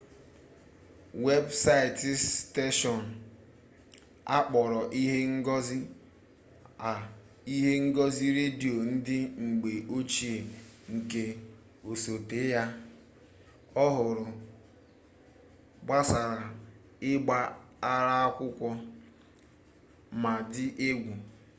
webụsaịtị steshọn a kpọrọ ihe ngosi a ihe ngosi redio ndị mgbe ochie nke osote ya ọhụrụ gbasara ịgba ara akwụkwọ ma dị egwu